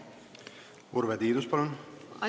Urve Tiidus, palun!